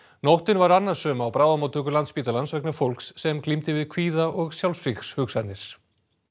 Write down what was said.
nóttin var annasöm á bráðamóttöku Landspítalans vegna fólks sem glímdi við kvíða og sjálfsvígshugsanir